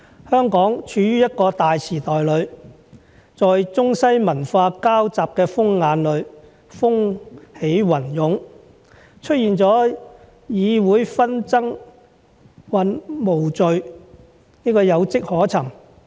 香港處於一個大時代裏，在中西文化交集的風眼裏風起雲湧，出現了議會紛爭無序有跡可尋。